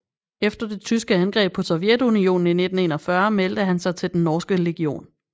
Efter det tyske angreb på Sovjetunionen i 1941 meldte han sig til Den norske legion